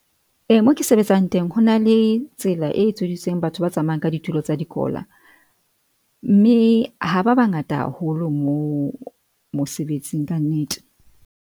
E mo ke sebetsang teng ho na le tsela e etseditsweng batho ba tsamayang ka ditulo tsa dikola, mme ha ba bangata haholo mo mosebetsing kannete.